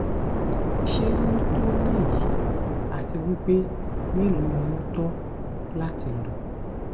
se o to ni eyi ati wipe melo lo to lati lo